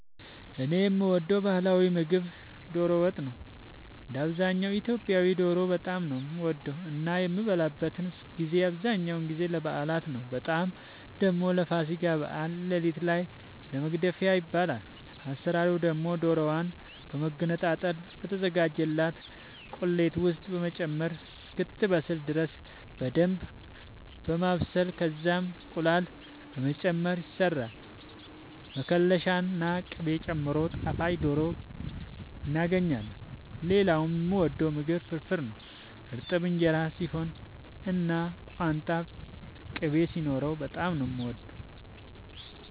እኔ የምወደው ባህላዊ ምግብ ዶሮ ወጥ ነው። እንደ አብዛኛው ኢትዮጵያዊ ዶሮ በጣም ነው የምወደው እና የሚበላበትን ጊዜ አብዛኛውን ጊዜ ለበዓላት ነው በጣም ደግሞ ለፋሲካ በዓል ሌሊት ላይ ለመግደፊያ ይበላል። አሰራሩ ደግሞ ዶሮዋን በመገነጣጠል በተዘጋጀላት ቁሌት ውስጥ በመጨመር እስክትበስል ድረስ በደንብ በማብሰል ከዛም እንቁላል በመጨመር ይሰራል መከለሻ ና ቅቤ ጨምሮ ጣፋጭ ዶሮ እናገኛለን። ሌላኛው የምወደው ምግብ ፍርፍር ነው። እርጥብ እንጀራ ሲሆን እና ቋንጣ ቅቤ ሲኖረው በጣም ነው የምወደው።